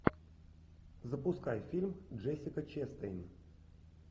запускай фильм джессика честейн